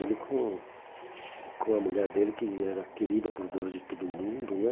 Ele com com a mulher dele, que era querida por Deus e todo mundo, né?